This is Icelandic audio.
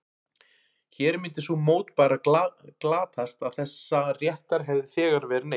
Hér myndi sú mótbára glatast að þessa réttar hefði þegar verið neytt.